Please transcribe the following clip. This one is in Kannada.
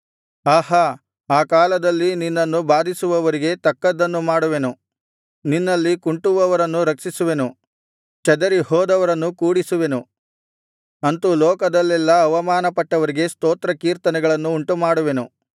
ಆಹಾ ಆ ಕಾಲದಲ್ಲಿ ನಿನ್ನನ್ನು ಬಾಧಿಸುವವರಿಗೆ ತಕ್ಕದ್ದನ್ನು ಮಾಡುವೆನು ನಿನ್ನಲ್ಲಿ ಕುಂಟುವವರನ್ನು ರಕ್ಷಿಸುವೆನು ಚದರಿ ಹೋದವರನ್ನು ಕೂಡಿಸುವೆನು ಅಂತು ಲೋಕದಲ್ಲೆಲ್ಲಾ ಅವಮಾನಪಟ್ಟವರಿಗೆ ಸ್ತೋತ್ರ ಕೀರ್ತನೆಗಳನ್ನು ಉಂಟುಮಾಡುವೆನು